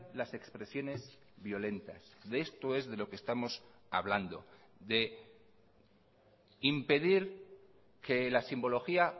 las expresiones violentas de esto es de lo que estamos hablando de impedir que la simbología